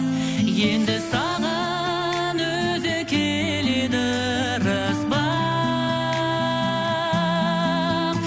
енді саған өзі келеді ырыс бақ